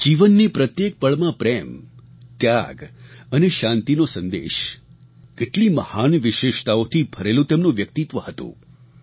જીવનની પ્રત્યેક પળમાં પ્રેમ ત્યાગ અને શાંતિનો સંદેશ કેટલી મહાન વિશેષતાઓથી ભરેલું તેમનું વ્યક્તિત્વ હતું